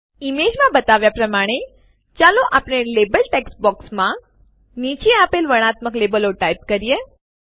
ઈમેજમાં બતાવ્યાં પ્રમાણે ચાલો આપણે લેબલ ટેક્સ્ટ બોક્સોમાં નીચે આપેલ વર્ણનાત્મક લેબલો ટાઈપ કરીએ